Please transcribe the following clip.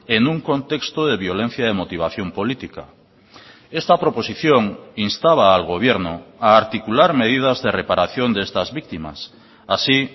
en un contexto de violencia de motivación política esta proposición instaba al gobierno a articular medidas de reparación de estas víctimas así